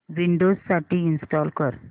Windows साठी install कर